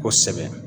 Kosɛbɛ